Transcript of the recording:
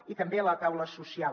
i també la taula social